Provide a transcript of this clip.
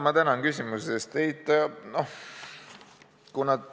Ma tänan küsimuse eest.